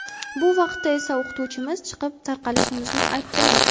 Bu vaqtda esa o‘qituvchimiz chiqib, tarqalishimizni aytdilar.